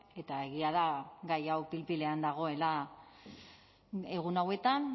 eta egia da gai hau pil pilean dagoela egun hauetan